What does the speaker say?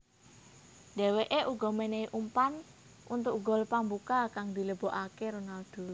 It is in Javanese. Dèwèké uga mènèhi umpan untuk gol pambuka kang dilebokaké Ronaldo